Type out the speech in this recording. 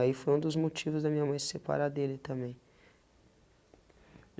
Aí foi um dos motivos da minha mãe se separar dele também.